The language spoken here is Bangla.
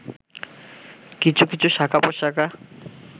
কিছু কিছু শাখা-প্রশাখা